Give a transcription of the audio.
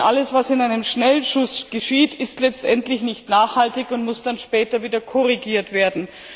Denn alles, was in einem Schnellschuss geschieht, ist letztendlich nicht nachhaltig und muss dann später wieder korrigiert werden.